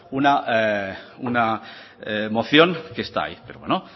una moción que está ahí pero bueno